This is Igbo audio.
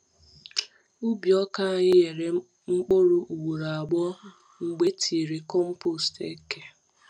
Ubi ọka anyị nyere mkpụrụ ugboro abụọ mgbe etinyere compost eke.